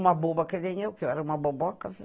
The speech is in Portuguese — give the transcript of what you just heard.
Uma boba que nem eu, que eu era uma boboca, viu?